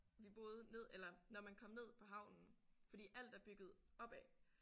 Vi boede ned eller når man kom ned på havnen fordi alt er bygget opad